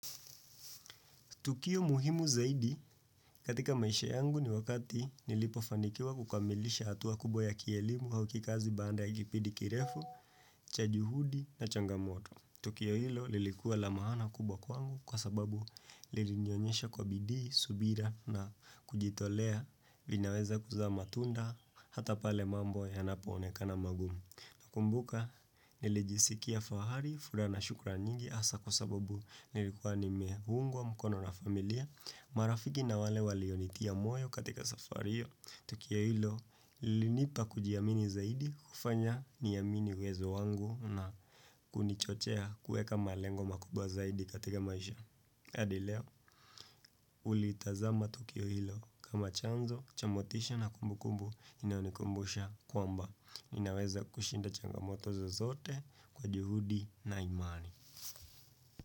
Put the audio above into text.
Tukio muhimu zaidi katika maisha yangu ni wakati nilipofanikiwa kukamilisha hatua kubwa ya kielimu au kikazi baada ya kipindi kirefu, cha juhudi na changamoto. Tukio hilo lilikuwa la maana kubwa kwangu kwa sababu lilinionyesha kwa bidii, subira na kujitolea vinaweza kuzaa matunda hata pale mambo yanapo onekana magumu. Nakumbuka nilijisikia fahari furaha na shukrani nyingi hasa kwa sababu nilikuwa nimeungwa mkono na familia marafiki na wale walionitia moyo katika safari hiyo tukio hilo ulinipa kujiamini zaidi kufanya niamini uwezo wangu na kunichochea kueka malengo makubwa zaidi katika maisha adi leo hulitazama tukio hilo kama chanzo cha motisha na kumbukumbu inaonikumbusha kwamba ninaweza kushinda changamoto zozote kwa juhudi na imani.